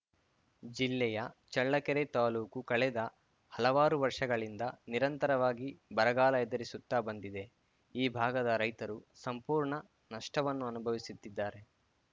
ಜಿಲ್ಲೆಯ ಚಳ್ಳಕೆರೆ ತಾಲೂಕು ಕಳೆದ ಹಲವಾರು ವರ್ಷಗಳಿಂದ ನಿರಂತರವಾಗಿ ಬರಗಾಲ ಎದುರಿಸುತ್ತಾ ಬಂದಿದೆ ಈ ಭಾಗದ ರೈತರು ಸಂಪೂರ್ಣ ನಷ್ಟವನ್ನು ಅನುಭವಿಸುತ್ತಿದ್ದಾರೆ